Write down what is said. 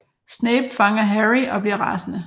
Snape fanger Harry og bliver rasende